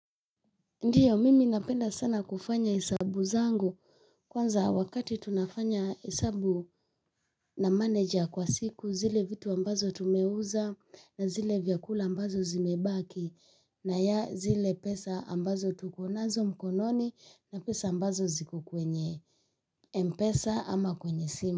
Ndiyo mimi napenda sana kufanya hesabu zangu kwanza wakati tunafanya hesabu na manager kwa siku zile vitu ambazo tumeuza na zile vyakula ambazo zimebaki na ya zile pesa ambazo tuko nazo mkononi na pesa ambazo ziko kwenye mpesa ama kwenye simu.